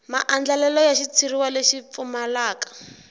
maandlalelo ya xitshuriwa lexi pfumalaka